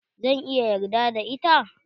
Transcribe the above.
zan iya yarda da ita?